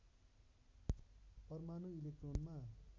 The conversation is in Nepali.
परमाणु इलेक्ट्रोनमा